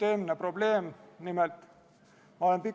Eelnõu esindaja toetas täpsustusi.